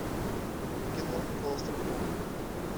кино клаустрофобы